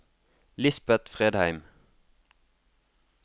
Lisbet Fredheim